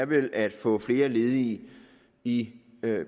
vel er at få flere ledige i